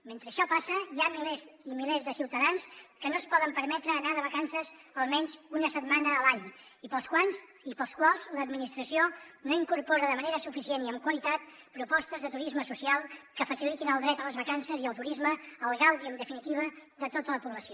mentre això passa hi ha milers i milers de ciutadans que no es poden permetre anar de vacances almenys una setmana a l’any i per als quals l’administració no incorpora de manera suficient i amb qualitat propostes de turisme social que facilitin el dret a les vacances i al turisme al gaudi en definitiva de tota la població